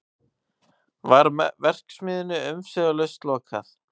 Var verksmiðjunni umsvifalaust lokað